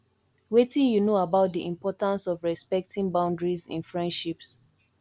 wetin you know about di importance of respecting boundiaries in friendships